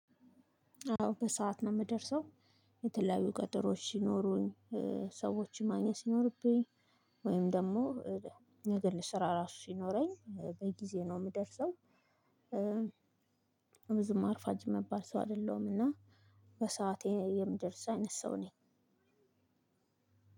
አዎ በሰአት ነው የምደርሰው። የተለያዩ ቀጠሮዎች ሲኖሩኝ፣ ሰዎች ማግኘት ሲኖርብኝ ወይም ደግሞ ነገ ለስራ ራሱ ሲኖረኝ በጊዜ ነው የምደርሰው። ብዙም አርፋጅ የሚባል ሰው አይደለሁም እና በሰአቴ የምደርስ አይነት ሰው ነኝ።